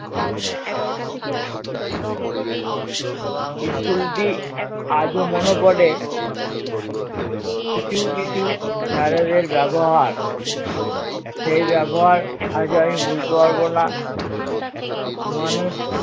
school টি আজও মনে পড়ে কিছু কিছু sir এ দের ব্যাবহার সেই ব্যাবহার আজও আমি ভুলতে পারবো না মানুষ